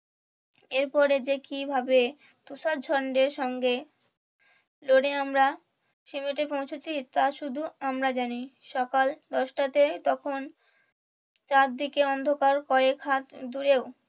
এর পরে যে কিভাবে তুষার ঝন্ডার সঙ্গে লড়ে আমরা পৌঁছেছি তা শুধু আমরা জানি সকাল দশটাতে তখন চারদিকে অন্ধকার কয়েক হাত দূরেও